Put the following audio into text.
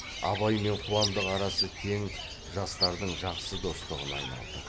абай мен қуандық арасы тең жастардың жақсы достығына айналды